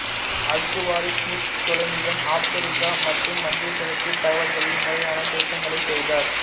Al Khwarizmi தொலமியின் Africa மற்று மத்தியகிழக்கு தகவல்களில் முறையான திருத்தங்களை செய்தார்